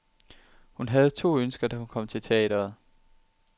Hun havde to ønsker, da hun kom til teatret.